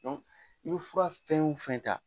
i be fura fɛn o fɛn ta